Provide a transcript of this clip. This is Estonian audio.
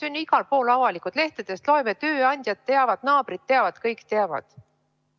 Need on ju igal pool avalikud – lehtedest loeme, tööandjad teavad, naabrid teavad, kõik teavad.